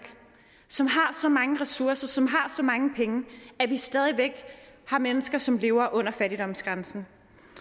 som har så mange ressourcer som har så mange penge stadig væk har mennesker som lever under fattigdomsgrænsen